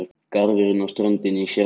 Garðurinn og ströndin í sérflokki.